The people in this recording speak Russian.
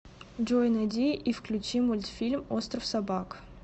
джой найди и включи мультфильм остров собак